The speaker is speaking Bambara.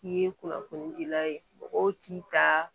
K'i ye kunnafoni dila ye mɔgɔw t'i ta